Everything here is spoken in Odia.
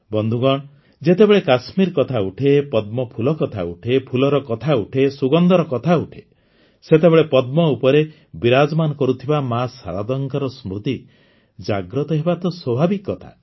ବନ୍ଧୁଗଣ ଯେତେବେଳେ କାଶ୍ମୀର କଥା ଉଠେ ପଦ୍ମଫୁଲ କଥା ଉଠେ ଫୁଲର କଥା ଉଠେ ସୁଗନ୍ଧର କଥା ଉଠେ ସେତେବେଳେ ପଦ୍ମ ଉପରେ ବିରାଜମାନ କରୁଥିବା ମା ଶାରଦାଙ୍କ ସ୍ମୃତି ଜାଗ୍ରତ ହେବା ତ ସ୍ୱାଭାବିକ କଥା